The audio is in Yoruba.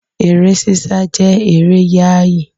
Eré sísá jẹ́ eré yááyì